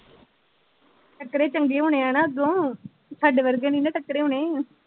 ਟੱਕਰੇ ਚੰਗੇ ਹੋਣੇ ਆਣਾ ਅੱਗੋਂ ਸਾਡੇ ਵਰਗੇ ਨਹੀਂ ਨਾ ਟੱਕਰੇ ਹੋਣੇ।